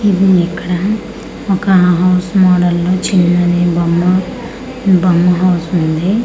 ఇది ఇక్కడ ఒక హౌస్ మోడల్ లో చిన్నది బొమ్మ బొమ్మ హౌస్ ఉంది.